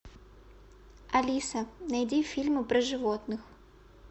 алиса найди фильмы про животных